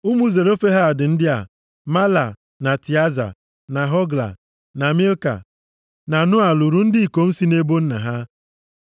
Ụmụ Zelofehad ndị a: Mahla, na Tịaza, na Hogla, na Milka, na Noa, lụrụ ndị ikom si nʼebo nna ha.